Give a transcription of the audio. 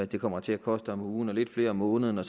det kommer til at koste om ugen og lidt flere om måneden